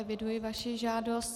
Eviduji vaši žádost.